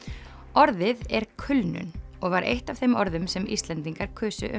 orðið er kulnun og var eitt af þeim orðum sem Íslendingar kusu um